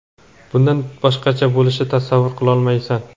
bundan boshqacha bo‘lishini tasavvur qilolmaysan.